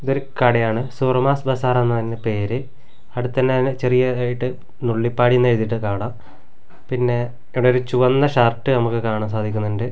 ഇതൊരു കടയാണ് സുറുമാസ് ബസാർ എന്ന അതിൻ്റെ പേര് അവിടെ തന്നെ ചെറിയ ഇതയിട്ട് നുള്ളിപ്പാടിന് എഴുതീട്ട് കാണാം പിന്നെ ഇവിടെ ഒരു ചുവന്ന ഷർട്ട് നമുക്ക് കാണാൻ സാധിക്കുന്നുണ്ട്.